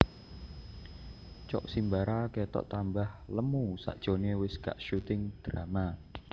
Cok Simbara ketok tambah lemu sakjoke wes gak syuting drama